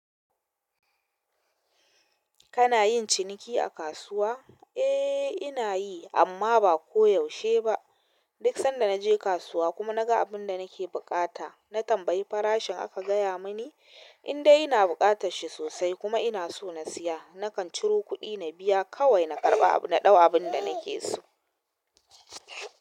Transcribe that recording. Kana yin ciniki a kasuwa? Eh, ina yi amma ba koyaushe ba. Duk sanda naje kasuwa kuma naga abunda nake buƙata natambayi farashin aka gaya mini indai ina bukatarshi sosai kuma inaso in siya nakan ciro kuɗi na biya kawai na karɓa na ɗau abunda nake so.